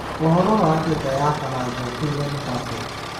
ũhoro wa njata ya Baranja Kyllian Mbappe?